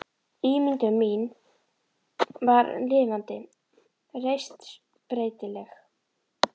Ímyndun mín var lifandi, reist, breytileg.